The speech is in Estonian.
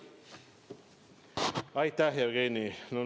Aitäh, Jevgeni!